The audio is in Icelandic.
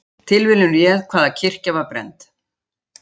Tilviljun réð hvaða kirkja var brennd